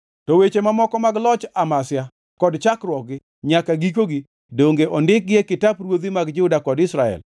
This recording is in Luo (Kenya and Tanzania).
To weche mamoko mag loch Amazia kar chakruokgi nyaka gikogi donge ondikgi e kitap ruodhi mag Juda kod Israel?